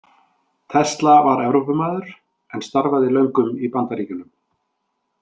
Tesla var Evrópumaður en starfaði löngum í Bandaríkjunum.